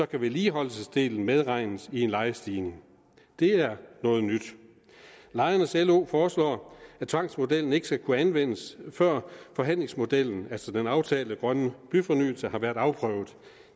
kan vedligeholdelsesdelen medregnes i en lejestigning det er noget nyt lejernes lo foreslår at tvangsmodellen ikke skal kunne anvendes før forhandlingsmodellen altså den aftalte grønne byfornyelse har været afprøvet